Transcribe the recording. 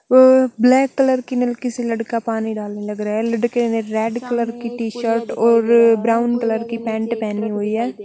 Black colour की नल की से लड़का पानी डालने लग रहा है। लड़के ने रेड कलर की टी-शर्ट और ब्राउन कलर की पैंट पहनी हुई है।